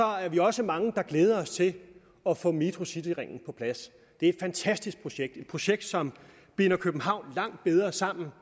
er vi også mange der glæder os til at få metrocityringen på plads det er et fantastisk projekt et projekt som binder københavn langt bedre sammen